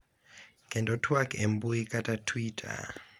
Kendo twak e mbui kaka Twitter,